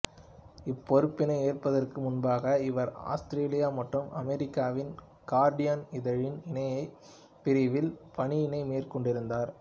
இப்பொறுப்பினை ஏற்பதற்கு முன்பாக இவர் ஆஸ்திரேலியா மற்றும் அமெரிக்காவின் கார்டியன் இதழின் இணையப் பிரிவில் பணியினை மேற்கொண்டிருந்தார்